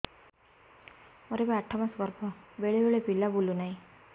ମୋର ଏବେ ଆଠ ମାସ ଗର୍ଭ ବେଳେ ବେଳେ ପିଲା ବୁଲୁ ନାହିଁ